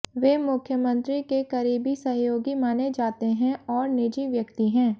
वे मुख्यमंत्री के करीबी सहयोगी माने जाते हैं और निजी व्यक्ति हैं